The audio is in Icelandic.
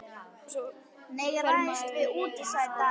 Og svo fer maður í röð inn á sko deildina.